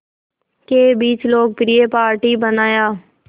के बीच लोकप्रिय पार्टी बनाया